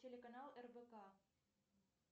телеканал рбк